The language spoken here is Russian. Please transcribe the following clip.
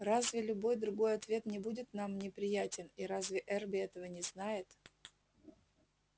разве любой другой ответ не будет нам неприятен и разве эрби этого не знает